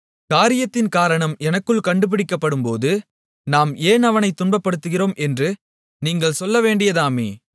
காரியத்தின் காரணம் எனக்குள் கண்டுபிடிக்கப்படும்போது நாம் ஏன் அவனைத் துன்பப்படுத்துகிறோம் என்று நீங்கள் சொல்லவேண்டியதாமே